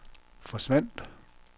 forsvandt